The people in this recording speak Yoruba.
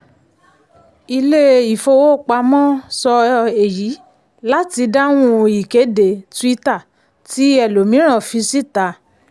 ilé-ifowopamọ́ sọ èyí láti dáhùn ìkéde twitter tí ẹlòmíì fi síta.